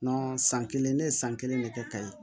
san kelen ne ye san kelen ne kɛ ka ye